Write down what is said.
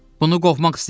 Bunu qovmaq istəyirəm.